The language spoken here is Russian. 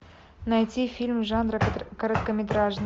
найти фильм жанра короткометражный